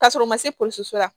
K'a sɔrɔ u ma se pɔsi la